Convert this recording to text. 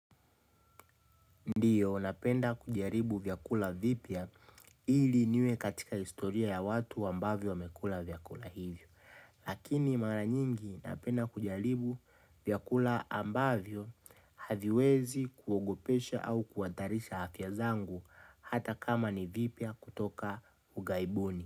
Ndiyo napenda kujaribu vyakula vipya ili niwe katika historia ya watu ambavyo wamekula vyakula hivyo. Lakini mara nyingi napenda kujaribu vyakula ambavyo haviwezi kuogopesha au kuhatarisha afya zangu hata kama ni vipya kutoka ughaibuni.